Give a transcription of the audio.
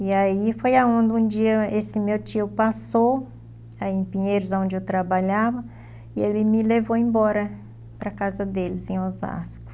E aí foi aonde um dia esse meu tio passou, aí em Pinheiros, onde eu trabalhava, e ele me levou embora para a casa deles, em Osasco.